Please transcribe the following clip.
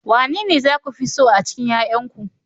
Wanene za ku fi so a cikin 'ƴa'ƴanku